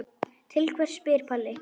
Til hvers spyr Palli.